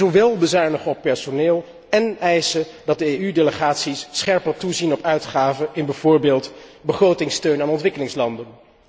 Je kunt niet zowel bezuinigen op personeel en eisen dat de EU delegaties scherper toezien op uitgaven aan bijvoorbeeld begrotingssteun aan ontwikkelingslanden.